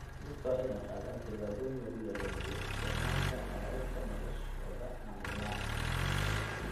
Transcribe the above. Dadka waa in ay qaadaan tallaabooyin lagu yareynayo isticmaalka caagagga noloshooda maalinlaha ah.